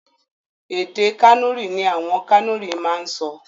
Èdè Kànúrì ní àwọn Kànúrì máa ń sọ.